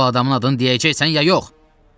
Bu adamın adını deyəcəksən ya yox?